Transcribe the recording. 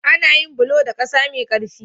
Ana yin bulo da ƙasa mai ƙarfi.